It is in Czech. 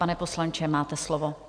Pane poslanče, máte slovo.